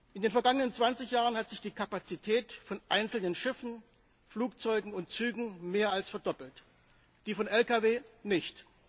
In den vergangenen zwanzig Jahren hat sich die Kapazität von einzelnen Schiffen, Flugzeugen und Zügen mehr als verdoppelt die von Lkw nicht.